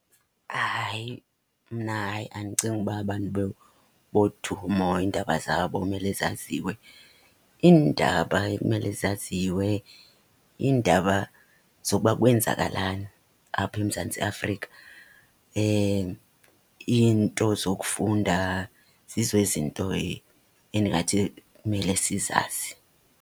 Hayi, mna hayi andicingi uba abantu bodumo iindaba zabo kumele zaziwe. Iindaba ekumele zaziwe, iindaba zokuba kwenzakalani apha eMzantsi Afrika. Iinto zokufunda zizo izinto endingathi kumele sizazi.